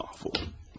Mahv oldum.